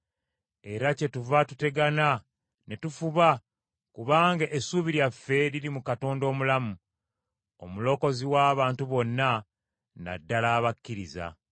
Era kyetuva tutegana ne tufuba, kubanga essuubi lyaffe liri mu Katonda omulamu, Omulokozi w’abantu bonna, na ddala abakkiriza.